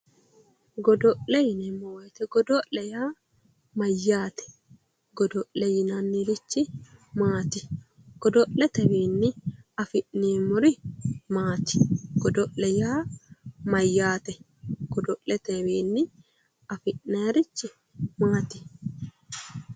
Godo'le yineemmo woyte godo'le yaa mayyaate godo'le yinannirichi maati godo'letewiinni afi'neemmori maati godo'le yaa mayyaate godo'letewiinni afi'nayrichi maati